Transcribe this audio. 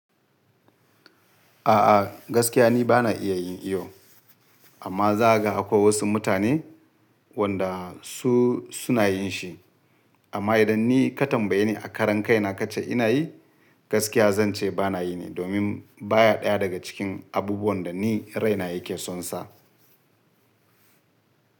A'a gaskiya ni bana iya yin iyo amma za ka ga akwai wasu mutane wanda su suna yin shi. Amma idan ni ka tambaye ni a karan kai na ka ce ina yi, gaskiya zan ce bana yi ne domin baya ɗaya daga cikin abubuwan da ni raina yake son sa.